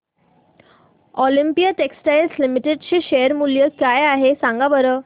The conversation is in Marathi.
ऑलिम्पिया टेक्सटाइल्स लिमिटेड चे शेअर मूल्य काय आहे सांगा बरं